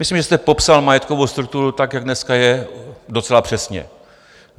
Myslím, že jste popsal majetkovou strukturu, tak jak dneska je, docela přesně.